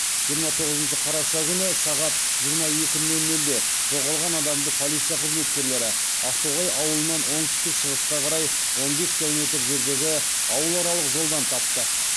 жиырма тоғызыншы қараша күні сағат жиырма екі нөл нөлде жоғалған адамды полиция қызметкерлері ақтоғай ауылынан оңтүстік шығысқа қарай он бес километр жердегі ауыларалық жолдан тапты